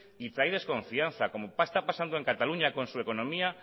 y trae desconfianza como está pasando en cataluña con su económica